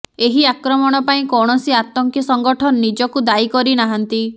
ଏହି ଆକ୍ରମଣ ପାଇଁ କୌଣସି ଆତଙ୍କୀ ସଙ୍ଗଠନ ନିଜକୁ ଦାୟୀ କରି ନାହାନ୍ତି